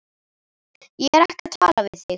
Ég er ekki að tala við þig.